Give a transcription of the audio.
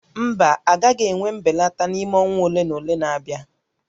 Mba, a gaghị enwe mbelata n'ime ọnwa ole na ole na-abịa